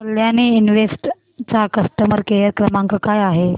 Kalyani invest चा customer care क्रमांक काय आहे